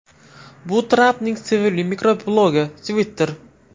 Bu Trampning sevimli mikroblogi Twitter.